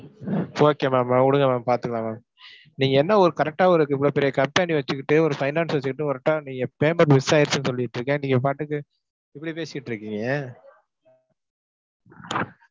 okay ma'am அஹ் விடுங்க ma'am பார்த்துக்கலாம் ma'am. நீங்க என்ன ஒரு correct ஆ ஒரு இவ்ளோ பெரிய company வச்சுக்கிட்டு, ஒரு finance வச்சுக்கிட்டு நீங்க payment miss ஆயிடுச்சுன்னு சொல்லிட்டிருக்கேன் நீங்கப் பாட்டுக்கு இப்படி பேசிட்டு இருக்கீங்க.